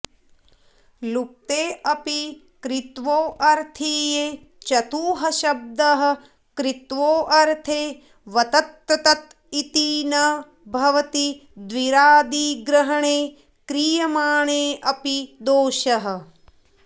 लुप्तेऽपि कृत्वोऽर्थीये चतुःशब्दः कृत्वोऽर्थे वत्र्तत इति न भवति द्विरादिग्रहणे क्रियमाणेऽपि दोषः